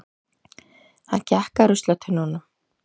Hann gekk að ruslatunnunum.